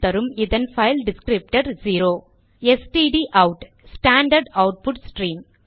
இதன் file descriptor 0 எஸ்டிடிஅவுட்stdout standard output stream